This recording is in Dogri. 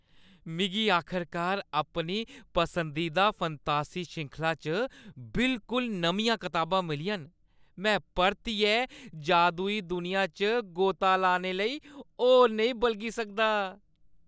मिगी आखरकार अपनी पसंदीदा फंतासी श्रृंखला च बिलकुल नमियां कताब मिलियां न। में परतियै जादुई दुनिया च गोता लाने लेई होर नेईं बलगी सकदा!